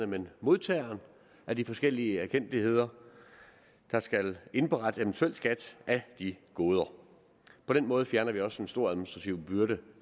men modtageren af de forskellige erkendtligheder der skal indberette eventuel skat af de goder på den måde fjerner vi også en stor administrativ byrde